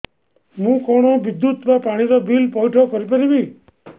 ମୁ କଣ ବିଦ୍ୟୁତ ବା ପାଣି ର ବିଲ ପଇଠ କରି ପାରିବି